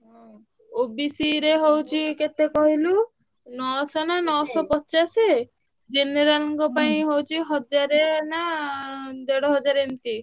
ହୁଁ OBC ରେ ହଉଛି କେତେ କହିଲୁ ନଅଶହ ନାଁ ନଅସହପଚାଶ general ଙ୍କ ପାଇଁ ହଉଛି ହଜାର ନାଁ ଦେଢ ହଜାର ଏମତି।